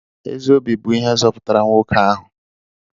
Ezi obi bụ ihe zọpụtara nwoke ahụ.